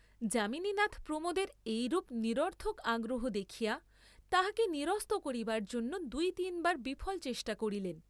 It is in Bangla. যামিনীনাথ প্রমোদের এইরূপ নিরর্থক আগ্রহ দেখিয়া তাঁহাকে নিরস্ত করিবার জন্য দুই তিন বার বিফল চেষ্টা করিলেন।